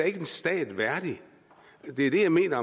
ikke en stat værdig det er det jeg mener